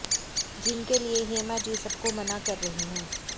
जिनके लिए हेमा जी सबको मना कर रहीं हैं